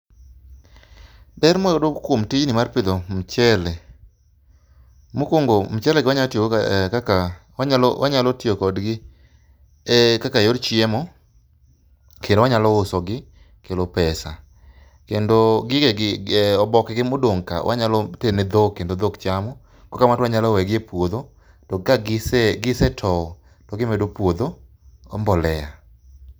Ber mwayudo kuom tijni mar pitho michele, mokuongo mchele wanyalo tiyo godo kar yor chiemo kendo wanyalo uso gi kelo pesa kendo oboke gi modong' ka wanyalo tero ne dhok kendo dhok chamo kata wanyalo weyo gi e puodho to ka gise tou to gi medo puodho mbolea